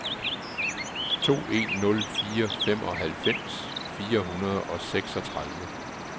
to en nul fire femoghalvfems fire hundrede og seksogtredive